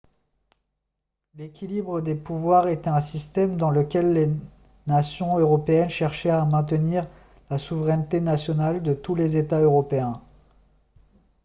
l'équilibre des pouvoirs était un système dans lequel les nations européennes cherchaient à maintenir la souveraineté nationale de tous les états européens